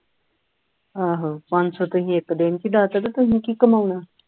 ਆਹੋ ਪੰਜ ਸੌ ਤੇ ਇਕ ਦਿਨ ਦੇ ਵਿੱਚ ਉਡਾ ਦਿੱਤਾ ਤੇ ਤੁਸੀ ਕੀ ਕਮਾਉਣਾ